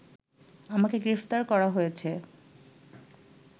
আমাকে গ্রেফতার করা হয়েছে